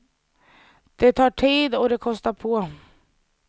Det tar tid, och det kostar på.